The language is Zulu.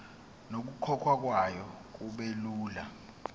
nokukhokhwa kwayo kubelula